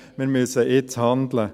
Wir müssen handeln.